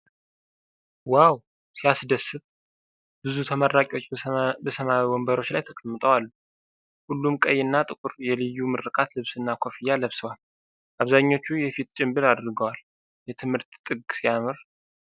ዋው ሲያስደስት! ብዙ ተመራቂዎች በሰማያዊ ወንበሮች ላይ ተቀምጠው አሉ። ሁሉም ቀይና ጥቁር የልዩ ምረቃ ልብስና ኮፍያ ለብሰዋል። አብዛኞቹ የፊት ጭንብል አድርገዋል። የትምህርት ጥግ ሲያምር!